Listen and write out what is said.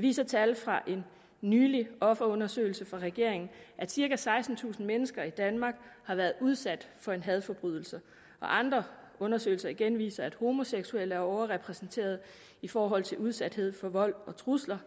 viser tal fra en nylig offerundersøgelse fra regeringen at cirka sekstentusind mennesker i danmark har været udsat for en hadforbrydelse og andre undersøgelser igen viser at homoseksuelle er overrepræsenteret i forhold til udsathed for vold og trusler